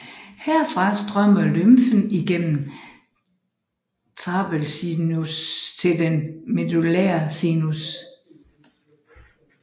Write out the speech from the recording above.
Herfra strømmer lymfen igennem trabekelsinus til den medullære sinus